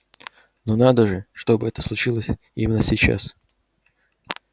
но надо же чтобы это случилось именно сейчас